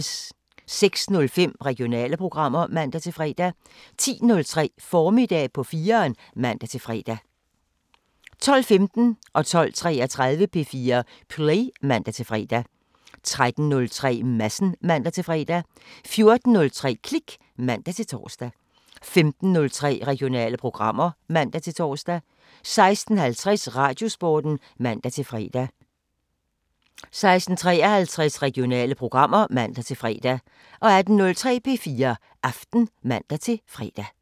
06:05: Regionale programmer (man-fre) 10:03: Formiddag på 4'eren (man-fre) 12:15: P4 Play (man-fre) 12:33: P4 Play (man-fre) 13:03: Madsen (man-fre) 14:03: Klik (man-tor) 15:03: Regionale programmer (man-tor) 16:50: Radiosporten (man-fre) 16:53: Regionale programmer (man-fre) 18:03: P4 Aften (man-fre)